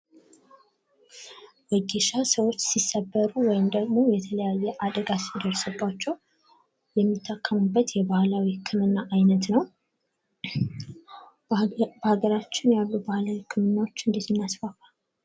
ዎጌሻ ሰዎች ሲሰበሩ ወይም ደግሞ የተለያየ አደጋ ሲደርስባቸው የሚታከሙበት የባህላዊ ህክምና አይነት ነው። በሃገራችን ያሉ የባህልዊ ህክምናዎችን እንዴት እናስፋፋ?